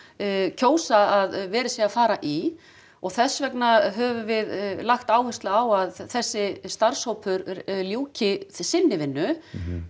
kjósa að verið sé að fara í og þess vegna höfum við lagt áherslu á að þessi starfshópur ljúki sinni vinnu